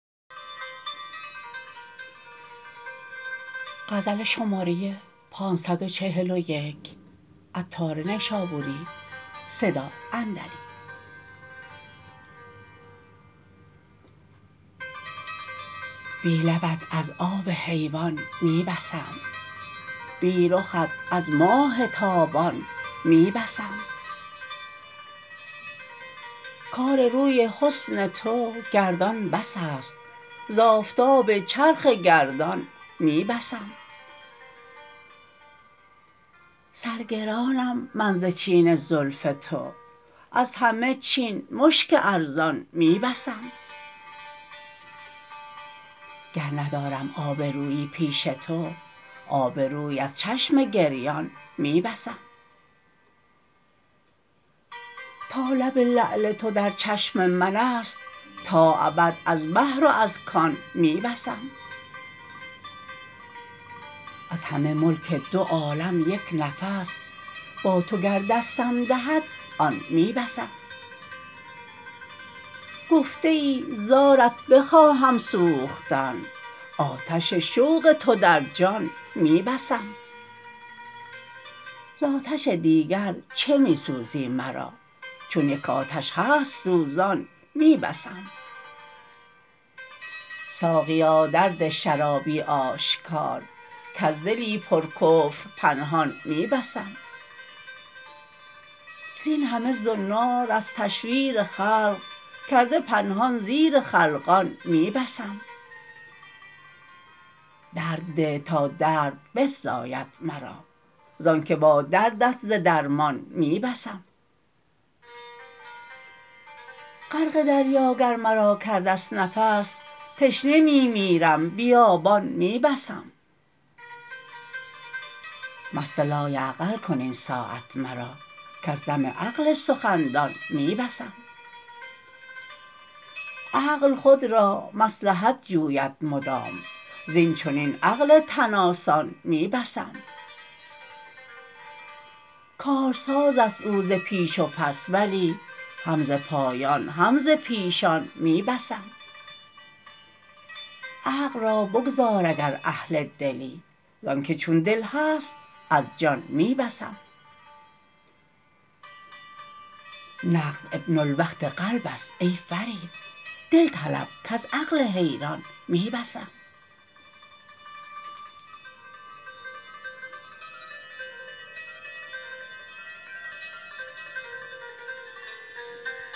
بی لبت از آب حیوان می بسم بی رخت از ماه تابان می بسم کار روی حسن تو گردان بس است ز آفتاب چرخ گردان می بسم سر گرانم من ز چین زلف تو از همه چین مشک ارزان می بسم گر ندارم آبرویی پیش تو آب روی از چشم گریان می بسم تا لب لعل تو در چشم من است تا ابد از بحر و از کان می بسم از همه ملک دو عالم یک نفس با تو گر دستم دهد آن می بسم گفته ای زارت بخواهم سوختن آتش شوق تو در جان می بسم زآتش دیگر چه می سوزی مرا چون یک آتش هست سوزان می بسم ساقیا در ده شرابی آشکار کز دلی پر کفر پنهان می بسم زین همه زنار از تشویر خلق کرده پنهان زیر خلقان می بسم درد ده تا درد بفزاید مرا زانکه با دردت ز درمان می بسم غرق دریا گر مرا کرده است نفس تشنه می میرم بیابان می بسم مست لایعقل کن این ساعت مرا کز دم عقل سخن دان می بسم عقل خود را مصلحت جوید مدام زین چنین عقل تن آسان می بسم کارساز است او ز پیش و پس ولی هم ز پایان هم ز پیشان می بسم عقل را بگذار اگر اهل دلی زانکه چون دل هست از جان می بسم نقد ابن الوقت قلب است ای فرید دل طلب کز عقل حیران می بسم